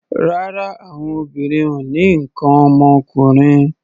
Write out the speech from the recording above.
Rárá, àwọn obìnrin ò ní nǹkan ọmọkùnrin.